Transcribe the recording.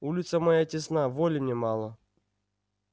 улица моя тесна воли мне мало